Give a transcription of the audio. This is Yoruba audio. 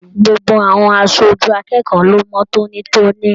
Gbogbo àwọn aṣojú akẹ́kọ̀ọ́ lo mọ tónítóní.